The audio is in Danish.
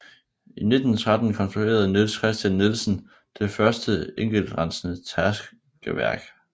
I 1913 konstruerede Niels Kristian Nielsen det første enkeltrensende tærskeværk